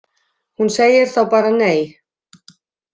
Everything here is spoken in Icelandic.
Hún segir þá bara nei.